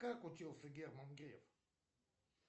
как учился герман греф